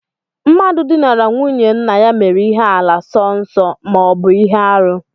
Mmadụ dinara nwunye nna ya mere ihe àlà sọ nsọ ma ọ bụ ihe arụ